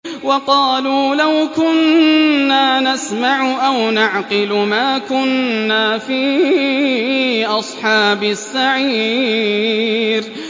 وَقَالُوا لَوْ كُنَّا نَسْمَعُ أَوْ نَعْقِلُ مَا كُنَّا فِي أَصْحَابِ السَّعِيرِ